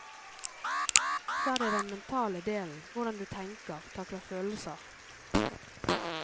Så er det den mentale delen, hvordan du tenker, takler følelser.